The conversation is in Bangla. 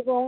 এবং